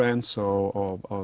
eins og